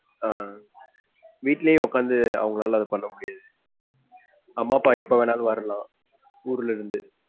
ஆஹ் வீட்டுலையும் உக்காந்து அவங்கனால அத பண்ணமுடியிது. அம்மா, அப்பா எப்ப வேணும்னாலும் வரலாம் ஊருல இருந்து.